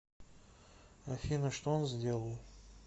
афина что он сделал